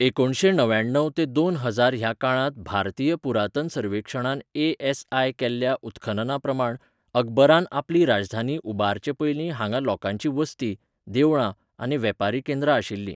एकुणशें णव्याण्णव ते दोन हजार ह्या काळांत भारतीय पुरातन सर्वेक्षणान ए एस आय केल्ल्या उत्खननाप्रमाण अकबरान आपली राजधानी उबारचे पयलीं हांगां लोकांची वसती, देवळां आनी वेपारी केंद्रां आशिल्लीं.